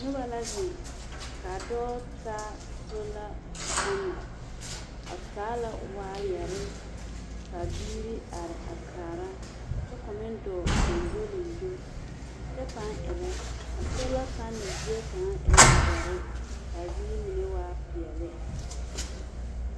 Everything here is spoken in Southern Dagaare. Noba la zeŋ ka a dɔɔ taa sola panɛl, a taa la waayɛre ka biiri are a kaara kyɛ ka o meŋ dɔɔ gyoŋgyoliŋgyo kyɛpãã erɛ. A sola panɛl zie kaŋa e la dɔre ka a ziiri mine waa peɛle.